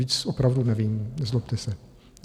Víc opravdu nevím, nezlobte se.